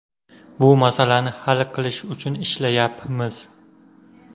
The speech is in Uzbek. Bu masalani hal qilish uchun ishlayapmiz.